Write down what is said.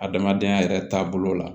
Adamadenya yɛrɛ taabolo la